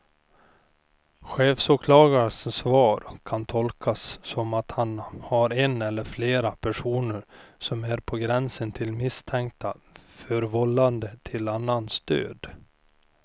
Chefsåklagarens svar kan tolkas som att han har en eller flera personer som är på gränsen till misstänkta för vållande till annans död.